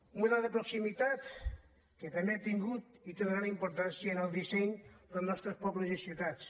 un model de proximitat que també ha tingut i té una gran importància en el disseny dels nostres pobles i ciutats